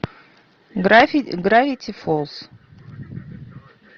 гравити фолз